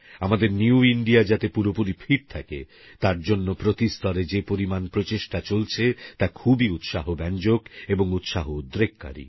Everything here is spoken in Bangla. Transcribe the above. আমাদের নিউ ইন্ডিয়া যাতে পুরোপুরি ফিট থাকে তার জন্যে প্রতি স্তরে যে পরিমাণ প্রচেষ্টা চলছে তা খুবই উৎসাহব্যাঞ্জক এবং উৎসাহ উদ্রেককারী